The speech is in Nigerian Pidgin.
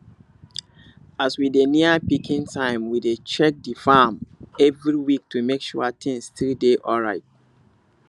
as we dey near picking time we dey check the farm every week to make sure things still dey alright